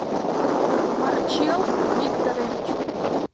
марчел викторович